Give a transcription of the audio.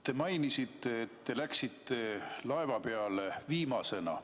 Te mainisite, et te läksite laeva peale viimasena.